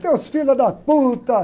Teus filhos da.